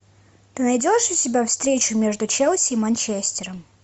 ты найдешь у себя встречу между челси и манчестером